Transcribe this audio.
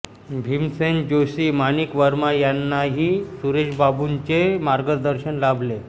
भीमसेन जोशी माणिक वर्मा यांनाही सुरेशबाबूंचे मार्गदर्शन लाभले